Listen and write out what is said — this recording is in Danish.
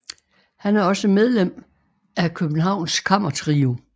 Han er også medlem af Københavns Kammertrio